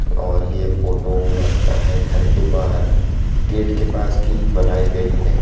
और ये फोटो लगता है घर के बाहर गेट के पास की बनाई गई है।